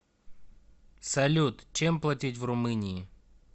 салют чем платить в румынии